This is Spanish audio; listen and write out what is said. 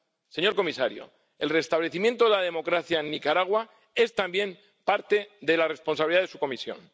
Señor comisario, el restablecimiento de la democracia en Nicaragua también es responsabilidad de su Comisión.